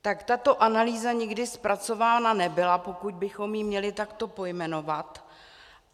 Tak tato analýza nikdy zpracována nebyla, pokud bychom ji měli takto pojmenovat.